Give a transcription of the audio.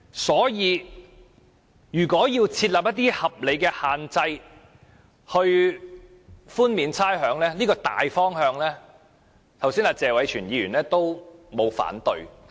所以，為寬免差餉而設立一套合理限制，這個大方向沒有人反對，剛才謝偉銓議員也沒有反對。